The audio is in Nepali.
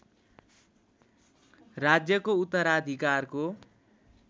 राज्यको उत्तराधिकारको